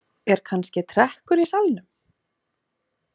Er kannski trekkur í salnum?